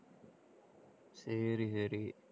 சரி, சரி